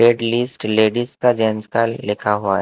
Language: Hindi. रेड लिस्ट लेडीज का का लिखा हुआ ।